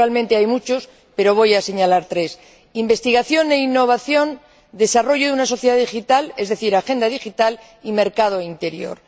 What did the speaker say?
Naturalmente hay muchos, pero voy a señalar tres investigación e innovación, desarrollo de una sociedad digital es decir, agenda digital y mercado interior.